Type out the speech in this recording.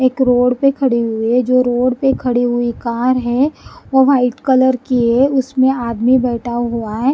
एक रोड पे खड़े हुए है जो रोड पे खड़ी हुई कार है वो वाइट कलर की है उसमें आदमी बैठा हुआ है।